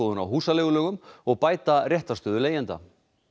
á húsaleigulögum og bæta réttarstöðu leigjenda